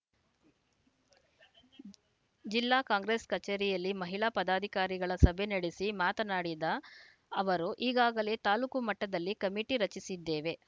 ಜಿಲ್ಲಾ ಕಾಂಗ್ರೆಸ್‌ ಕಚೇರಿಯಲ್ಲಿ ಮಹಿಳಾ ಪದಾಧಿಕಾರಿಗಳ ಸಭೆ ನಡೆಸಿ ಮಾತನಾಡಿದ ಅವರು ಈಗಾಗಲೇ ತಾಲೂಕು ಮಟ್ಟದಲ್ಲಿ ಕಮಿಟಿ ರಚಿಸಿದ್ದೇವೆ